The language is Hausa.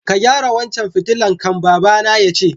Ka gyara wancan fitilan kai'n, baba na ya ce.